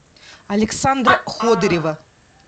александра ходырева